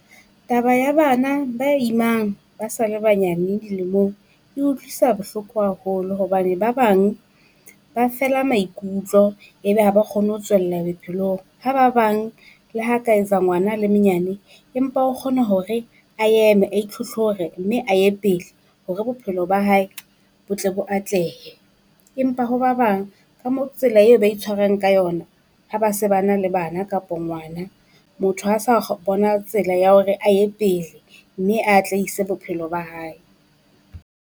Taba ya bana ba imang ba sa le banyane dilemong e utlwisa bohloko haholo hobane, ba bang ba fela maikutlo ebe ha ba kgone ho tswella bophelong. Ha ba bang le ha ka etsa ngwana a le menyane, empa o kgona hore a eme a itlhotlhore mme a ye pele hore bophelo ba hae bo tle bo atlehe. Empa ho ba bang ka mo tsela eo ba itshwarang ka yona ha ba se ba na le bana kapo ngwana, motho ha sa bona tsela ya hore a ye pele mme a atlehise bophelo ba hae.